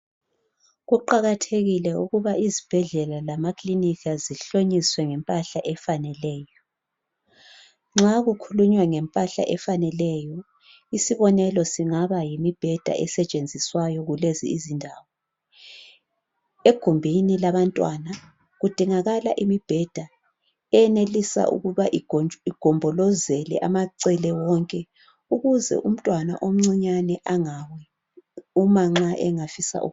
kuqakathekile ukuba izibhedlela lamakilinika zihlonyiswe ngempahla efaneleyo nxa kukhulunywa ngempahla efaneleyo isibonelo singaba yimibheda esetshenziswayo kulezi indawo egumbini labantwana kudingakala imibheda enelisa ukuba igombolozele amacele wonke ukuze umntwana omncinyane engawi uma nxa engafisa